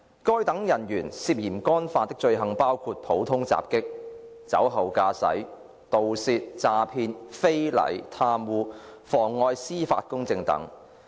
該等人員涉嫌干犯的罪行包括普通襲擊、酒後駕駛、盜竊、詐騙、非禮、貪污、妨礙司法公正等。